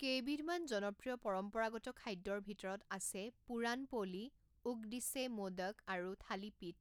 কেইবিধমান জনপ্ৰিয় পৰম্পৰাগত খাদ্যৰ ভিতৰত আছে পুৰাণ পোলি, উকদিচে মোদক আৰু থালিপীঠ।